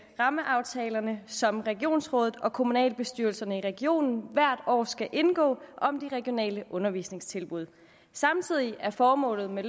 rammeaftalerne som regionsrådet og kommunalbestyrelserne i regionen hvert år skal indgå om de regionale undervisningstilbud samtidig er formålet med